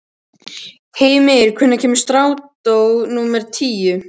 Hymir, hvenær kemur strætó númer tíu?